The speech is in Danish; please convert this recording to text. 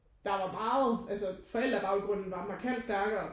Der var meget altså forældre baggrunden var markant stærkere